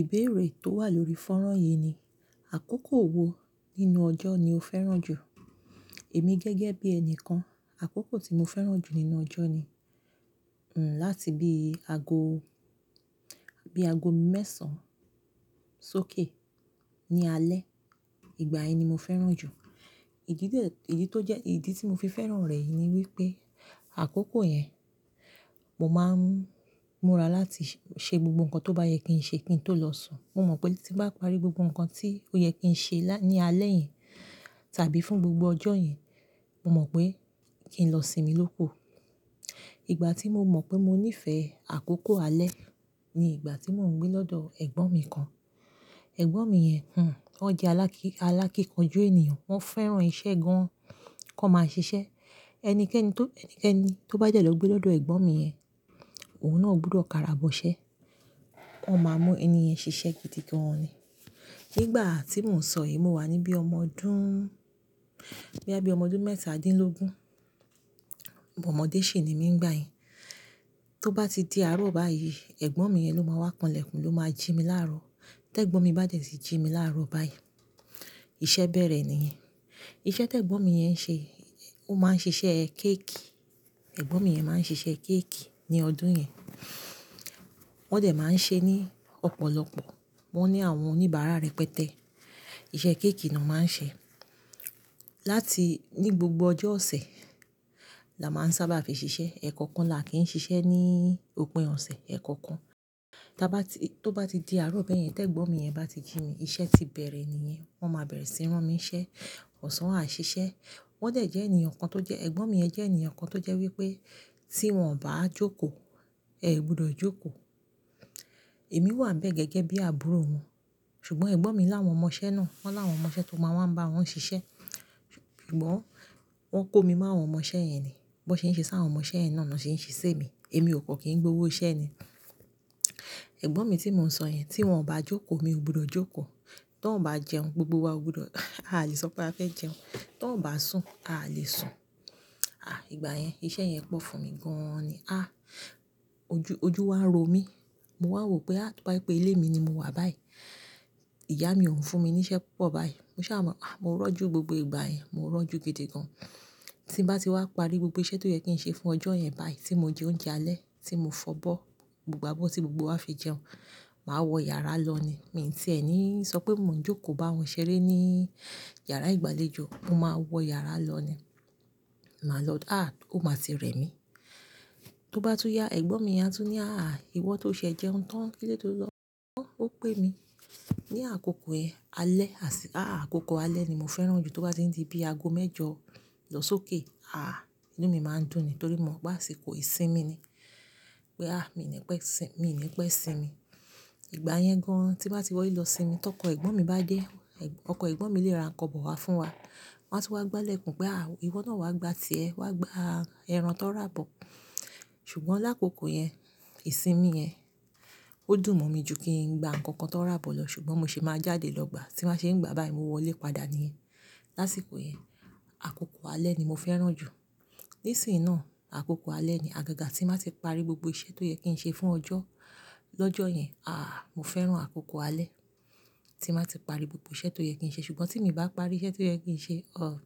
Ìbéèrè tó wà lórí fónrán yìí ni, àkókò wo nínú ọjọ́ ni o fẹ́ràn jù? Èmi gẹ́gẹ́ bí ẹni kan, àkókò tí mo fẹ́ràn jù nínú ọjọ́ ni, hm, láti bí ago, bí ago mẹ́sàn-án sókè ní alẹ́. Ìgbà yẹn ni mo fẹ́ràn jù. Ìdí tó jẹ́, ìdí tí mo fi fẹ́ràn rẹ̀ yìí ni wípé àkókò yẹn, mo máa ń múra láti ṣe gbogbo nǹkan tó bá yẹ kí n ṣe kí n tó lọ sùn. Mo mọ̀ pé tí n bá parí gbogbo nǹkan tí ó yẹ kí n ṣe ní alẹ́ yẹn tàbí fún gbogbo ọjọ́ yẹn, mo mọ̀ pé kí n lọ sinmi lókù. Ìgbà tí mo mọ̀ pé mo nífẹ̀ẹ́ àkókò alẹ́ ni ìgbà tí mò ń gbé lọ́dọ̀ ẹ̀gbọ́n mi kan. Ẹ̀gbọ́n mi yẹn, hm, ó jẹ́ alákíkanjú ènìyàn. Wọ́n fẹ́ràn iṣẹ́ gan, kí wọ́n máa ṣiṣẹ́. Ẹnikẹ́ni tó, ẹni tó bá dẹ̀ lọ gbé lọ́dọ̀ ẹ̀gbọ́n mi yẹn, òun náà ò gbọdọ̀ karà bọṣẹ́. Wọ́n máa mú ẹni yẹn ṣiṣẹ́ gidi gan ni. Nígbà tí mò ń sọ yìí, mo wà níbí ọmọdún, boya bí i ọmọ ọdún mẹ́ta dín lógún. Ọmọdé ṣì ni mí nígbà yẹn. Tó bá ti di àárọ̀ báyìí, ẹ̀gbọ́n mi yẹn ló máa wá kanlẹ̀kùn, ló máa jí mi láàárọ̀. Tẹ́gbọ́n mi bá dẹ̀ ti jí mi láàárọ̀ báyìí, iṣẹ́ bẹ̀rẹ̀ níyẹn. Iṣẹ́ tí ẹ̀gbọ́n mi yẹn ṣe, ó máa ń ṣiṣẹ́ kéékì. Ẹ̀gbọ́n mi yẹn máa ń ṣiṣẹ́ kéékì ní ọdún yẹn. Wọ́n dẹ̀ máa ń ṣe ní ọ̀pọ̀lọpọ̀. Wọ́n ní àwọn oníbàárà rẹpẹtẹ. Iṣẹ́ kéékì ni wọ́n máa ń ṣe. Láti-- ní gbogbo ọjọ́ ọ̀sẹ̀ la máa ń sábà fi ṣiṣẹ́. Ẹ̀ẹ̀kọ̀kan la kí ń ṣiṣẹ́ ní òpin ọ̀sẹ̀, ẹ̀ẹ̀kọ̀kan. Tí a bá ti, tó bá ti di àárọ̀ bẹ́ẹ̀ yẹn, tẹ́gbọ́n mi yẹn bá ti jí mi, iṣẹ́ ti bẹ̀rẹ̀ níyẹn. Wọ́n máa bẹ̀rẹ̀ sí ní rán mi iṣẹ́, ọ̀sán àá ṣiṣẹ́. Wọ́n dẹ̀ jẹ́ ènìyàn kan tó jẹ́, ẹ̀gbọ́n mi jẹ́ ènìyàn kan tó jẹ́ wípé tí wọ́n ò bá jókòó, ẹ ò gbọdọ̀ jókòó. Èmi wà nibẹ́ẹ̀ gẹ́gẹ́ bí àbúrò wọn. Ṣùgbọ́n ẹ̀gbọ́n mi láwọn ọmọṣẹ́ náà. Wọ́n láwọn ọmọṣẹ́ tó máa wá ń bá wọn ṣiṣẹ́. Ṣùgbọ́n wọ́n kó mi mọ́ àwọn ọmọṣẹ́ yẹn ni. Bi wọ́n ṣe ń ṣe sá àwọn ọmọṣẹ́ yẹn náà niwọ́n ṣe ń ṣe si emi. Èmi ò kọ́ kí n gbowó iṣẹ́ ni. Ẹ̀gbọ́n mi tí mò ń sọ yẹn, tí wọ́n ò bá jókòó, mi ò gbọdọ̀ jókòó. Tí wọ́n ò bá jẹun, gbogbo wa ò gbọdọ̀, a à le sọ pé a fẹ́ jẹun. Tí wọ́n ò bá sùn, a à lè sùn. Àí, ìgbà yẹn iṣẹ́ yẹn pọ̀ fún mi gan ni. Ah! Ojú, ojú wa ń ro mí. Mo wá rò pé a, tó bá jẹ pé ilé mi ni mo wà báyìí, ìyá mi ò ń fún mi ní iṣẹ́ púpọ̀ báyìí. Mo ṣa máa, ah, mo rọ́jú ni gbogbo ìgbà yẹn. Mo rọ́jú gidi gan. Tí n bá ti wá parí gbogbo iṣẹ́ tó yẹ kí n ṣe fún ọjọ́ yẹn báyìí, tí mo jẹ oúnjẹ alẹ́, tí mo fọ̀ bọ́, gbogbo abọ́ tí gbogbo wa fi jẹun, màá wọ yàrá lọ ni. Mi ò tiẹ ní sọ pé mò ń jókòó bá wọn ṣeré ní yàrá ìgbàlejò. Mo máa wọ yàrá lọ ni. Màá lọ, àh, ó máa ti rẹ̀ mí. Tó bá tún yá, ẹ̀gbọ́n mi yẹn á tún ní, "Àh, ìwọ tó ṣe ẹ jẹun tán, kí ló de ti o lọ?" Wọ́ ó pè mí. Ni àkókò ẹ alẹ́, àṣí, àí, àkókò alẹ́ ni mo fẹ́ràn jù tó bá ti di bí ago mẹ́jọ lọ sókè. Àh, inú mi máa ń dùn ni torí mo mọ̀ pé àsìkò ìsinmi ni. Pé, àh, mi ò ní pẹ́, mi ò ní pẹ́ sinmi. Ìgbà yẹn gan tí bá ti wọlé lọ sinmi, tọkọ ẹ̀gbọ́n mi bá dé, ẹ̀gbọ́n, ọkọ ẹ̀gbọ́n mi lè ra ǹkan bọ̀ wá fún wa. Wọn á sì wá gbálẹ̀kùn pé, "Àh, ìwọ náà wá gbá ti ẹ, wá gbá ẹran tań rà bọ̀." Ṣùgbọ́n lákòókò yẹn, ìsinmi yẹn, ó dùn mọ́ mi jù kí n gba ǹkan kan tó ń rà bọ̀ lọ. Ṣùgbọ́n mo sì máa jáde lọ gbà. Tí wọ́n bá ṣe ń gba báyìí, mo wọlé padà níyẹn. Láṣìkò yẹn, àkókò alẹ́ ni mo fẹ́ràn jù. Nísìnyí náà, àkókò alẹ́ ni, àgàgà tí màá ti parí gbogbo iṣẹ́ tó yẹ kí n ṣe fún ọjọ́, lọ́jọ́ yẹn, àh, mo fẹ́ràn àkókò alẹ́ tí màá ti parí gbogbo iṣẹ́ tó yẹ kí n ṣe. Ṣùgbọ́n tí mi ò bá parí iṣẹ́ tí ó yẹ kí n ṣe, o,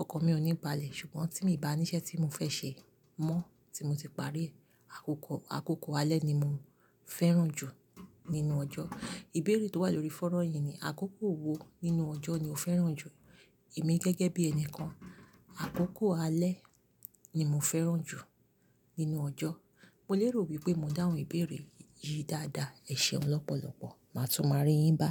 ọkan mi ò ní balẹ̀. Ṣùgbọ́n tí mi bá ní iṣẹ́ tí mo fẹ́ ṣe mọ́ tí mo ti parí, àkókò, àkókò alẹ́ ni mo fẹ́ràn jù nínú ọjọ́. Ìbéèrè tó wà lórí fónrán yìí ni, àkókò wo nínú ọjọ́ ni o fẹ́ràn jù? Èmi gẹ́gẹ́ bí ẹni kan, àkókò alẹ́ ni mo fẹ́ràn jù nínú ọjọ́. Mo lérò wípé mo dá àwọn ìbéèrè yìí dáadáa. Ẹ ṣeun lọ́pọ̀lọpọ̀. Màá tún máa rí yín bá.